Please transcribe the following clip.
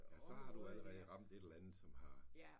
Ja så har du allerede ramt et eller andet som har ja